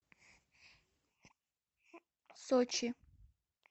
сочи